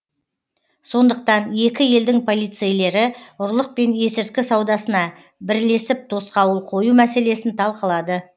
сондықтан екі елдің полицейлері ұрлық пен есірткі саудасына бірлесіп тосқауыл қою мәселесін талқылады